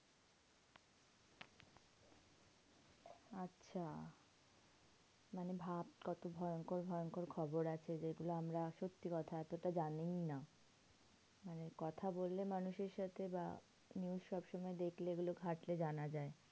আচ্ছা মানে ভাব কত ভয়ঙ্কর ভয়ঙ্কর খবর আছে যেগুলো আমরা সত্যি কথা এতটা জানিই না। মানে কথা বললে মানুষের সাথে বা news সবসময় দেখলে এগুলো ঘাঁটলে জানা যায়।